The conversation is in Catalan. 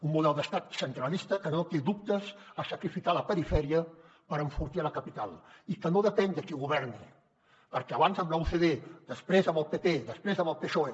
un model d’estat centralista que no té dubtes a sacrificar la perifèria per enfortir la capital i que no depèn de qui governi perquè abans amb la ucd després amb el pp després amb el psoe